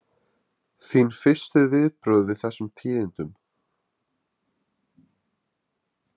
Þín fyrstu viðbrögð við þessum tíðindum?